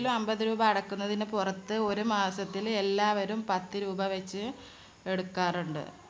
അമ്പത് രൂപ അടക്കുന്നതിന് പുറത്ത് ഒരു മാസത്തിൽ എല്ലാവരും പത്തുരൂപ വച്ച് എടുക്കാറുണ്ട്.